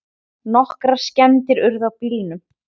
Nokkrar skemmdir urðu á bílunum